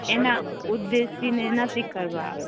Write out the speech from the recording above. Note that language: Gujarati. એના ઉદેશી ને નક્કી કરવા મા આવે